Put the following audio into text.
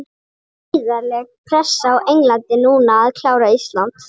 Það er gríðarleg pressa á Englandi núna að klára Ísland.